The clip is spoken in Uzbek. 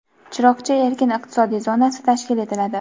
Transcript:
"Chiroqchi" erkin iqtisodiy zonasi tashkil etiladi.